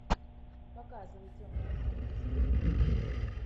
показывай темное фэнтези